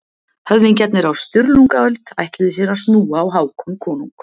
Höfðingjarnir á Sturlungaöld ætluðu sér að snúa á Hákon konung.